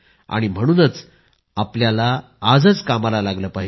म्हणूनच आपल्याला आजच कामाला लागले पाहिजे